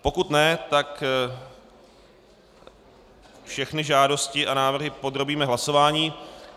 Pokud ne, tak všechny žádosti a návrhy podrobíme hlasování.